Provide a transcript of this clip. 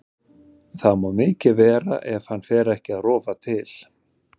Það má mikið vera ef hann fer ekki að rofa til.